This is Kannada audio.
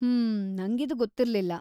ಹ್ಮ್, ನಂಗಿದು ಗೊತ್ತಿರ್ಲಿಲ್ಲ.